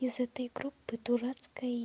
из этой группы дурацкой